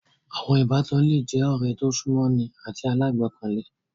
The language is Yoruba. Àwọn Ìbátan le je ọ̀rẹ́ tí o sún mọ́ ni àti alágbọkàlé